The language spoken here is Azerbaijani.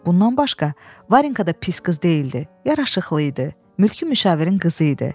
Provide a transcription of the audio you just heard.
Bundan başqa Varinka da pis qız deyildi, yaraşıqlı idi, mülki müşavirin qızı idi.